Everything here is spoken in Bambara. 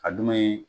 A dun ye